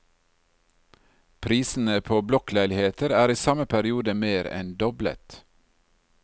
Prisene på blokkleiligheter er i samme periode mer enn doblet.